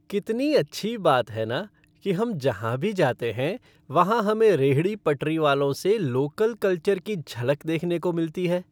कितनी अच्छी बात है न, कि हम जहाँ भी जाते हैं वहाँ हमें रेहड़ी पटरी वालों से लोकल कल्चर की झलक देखने को मिलती है।